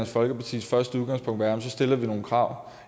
folkepartis første udgangspunkt være at så stiller vi nogle krav